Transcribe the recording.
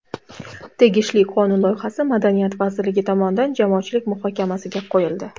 Tegishli qonun loyihasi Madaniyat vazirligi tomonidan jamoatchilik muhokamasiga qo‘yildi.